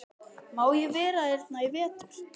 Má ég vera hérna í vetur?